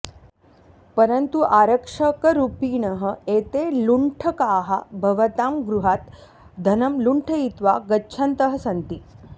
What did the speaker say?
परन्तु आरक्षकरूपिणः एते लुण्ठकाः भवतां गृहात् धनं लुण्ठयित्वा गच्छन्तः सन्ति